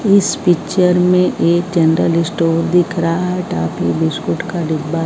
इस पिक्चर में एक जनरल स्टोर दिख रहा है टाफी बिस्कुट का डिब्बा--